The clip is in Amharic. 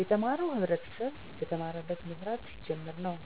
የተማረው ህብረተሰብ በተማረበት መስራት ሲጀምር ነው።